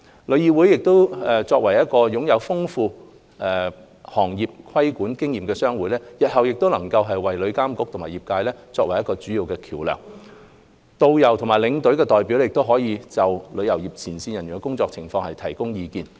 旅議會作為擁有豐富行業規管經驗的商會，日後能作為旅監局與業界的主要溝通橋樑，導遊或領隊代表亦可就旅遊業前線人員的工作情況提供意見。